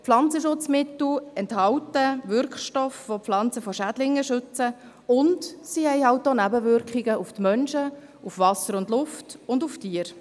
Pflanzenschutzmittel enthalten Wirkstoffe, welche Pflanzen vor Schädlingen schützen, und sie haben eben auch Nebenwirkungen für die Menschen, das Wasser, die Luft und die Tiere.